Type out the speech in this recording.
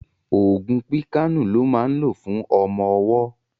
Ògùn píkàànù lọ́ máa ń lò fún ọmọ ọwọ́